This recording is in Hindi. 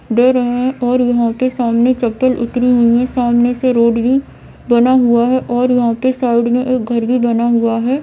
दे रहे है और यहां के सामने सामने से रोड भी बना हुआ है यहा के साइड मे एक घर भी बना हुआ है।